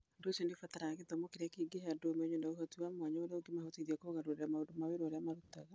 Ũndũ ũcio nĩ ũbataraga gĩthomo kĩrĩa kĩngĩhe andũ ũmenyo na ũhoti wa mwanya ũrĩa ũngĩmahotithia kũgarũrĩra maũndũ ma wĩra ũrĩa marutaga.